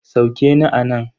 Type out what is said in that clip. Sauke ni anan.